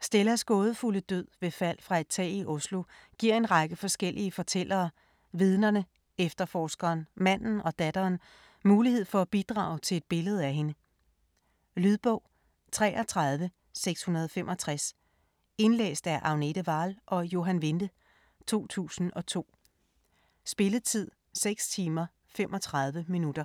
Stellas gådefulde død ved fald fra et tag i Oslo giver en række forskellige fortællere - vidnerne, efterforskeren, manden og datteren - mulighed for at bidrage til et billede af hende. Lydbog 33665 Indlæst af Agnete Wahl og Johan Vinde, 2002. Spilletid: 6 timer, 35 minutter.